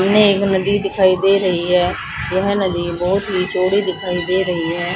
में एक नदी दिखाई दे रही है यह नदी बहुत ही चौड़ी दिखाई दे रही है।